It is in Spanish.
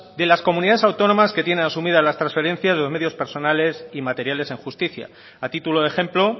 de las comunidades autónomas que tiene asumidas las transferencias de los medios personales y materiales en justicia a título de ejemplo